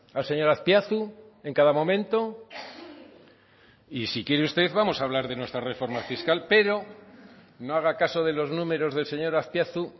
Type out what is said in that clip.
al señor azpiazu en cada momento y si quiere usted vamos a hablar de nuestra reforma fiscal pero no haga caso de los números del señor azpiazu